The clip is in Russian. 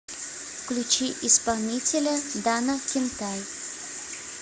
включи исполнителя дана кентай